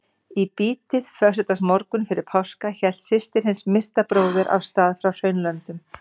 Í bítið föstudagsmorgunn fyrir páska hélt systir hins myrta bróður af stað frá Hraunlöndum.